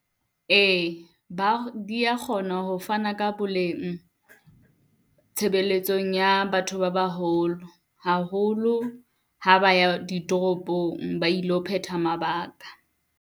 Ee ba di ya kgona ho fana ka boleng tshebeletsong ya batho ba baholo, haholo ha ba ya ditoropong, ba ilo phetha mabaka.